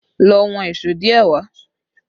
Lọ wọn èṣó díẹ̀ wà!